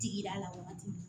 Tigida la waati min